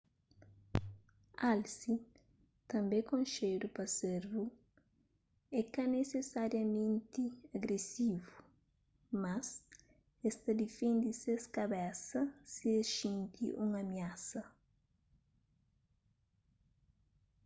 alse tanbê konxedu pa servu é ka nisisariamenti agresivu mas es ta difende ses kabesa si es xinti un amiasa